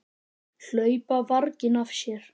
Hlaupa varginn af sér.